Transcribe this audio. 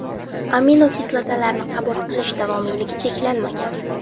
Aminokislotalarni qabul qilish davomiyligi cheklanmagan.